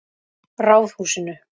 Ráðhúsinu